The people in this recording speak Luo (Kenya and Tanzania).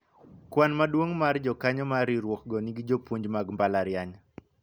kwan maduong' mar jokanyo mar riwruok go gin jopuonj mag mbalariany